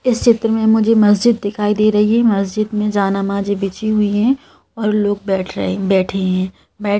इस चित्र में मुझे मस्जिद दिखाई दे रही है मस्जिद में जा नमाजें बिछी हुई है और लोग बैठ रहे बैठे हैं।